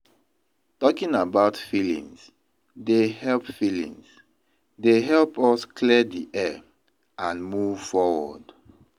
Talking about feelings dey help feelings dey help us clear the air and move forward.